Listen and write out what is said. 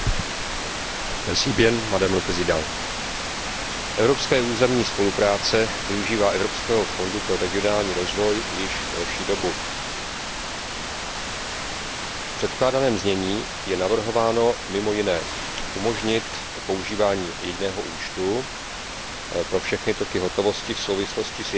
Paní předsedající, evropská územní spolupráce využívá Evropského fondu pro regionální rozvoj již delší dobu. V předkládaném znění je navrhováno mimo jiné umožnit používání jediného účtu pro všechny toky hotovosti v souvislosti s jedním programem spolupráce.